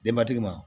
Denbatigi ma